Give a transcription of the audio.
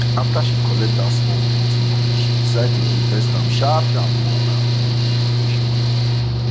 afta she collect dat small plenty money she decide to invest am sharpsharp for her pikin dem education